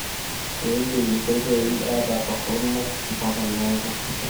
keidim enkoitoi ataa toronok mpaka neeku meimayu